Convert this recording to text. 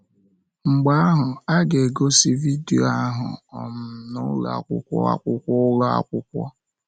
Mgbe ahụ, a ga-egosi vidio ahụ um na ụlọ akwụkwọ akwụkwọ ụlọ akwụkwọ.